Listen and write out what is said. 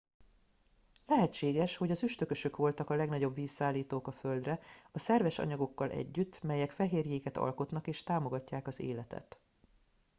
lehetséges hogy az üstökösök voltak a legnagyobb vízszállítók a földre a szerves anyagokkal együtt melyek fehérjéket alkotnak és támogatják az életet